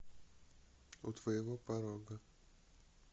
у твоего порога